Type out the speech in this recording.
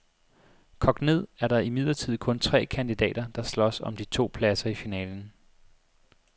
Kogt ned er der imidlertid kun tre kandidater, der slås om de to pladser i finalen.